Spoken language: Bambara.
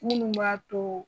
Minnu b'a to